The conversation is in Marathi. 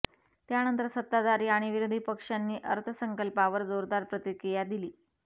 त्यानंतर सत्ताधारी आणि विरोधी पक्षांनी अर्थसंकल्पावर जोरदार प्रतिक्रिया दिली